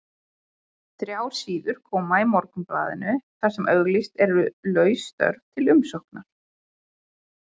Þrjár síður koma í Morgunblaðinu þar sem auglýst eru laus störf til umsóknar.